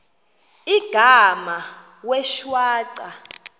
igama wee shwaca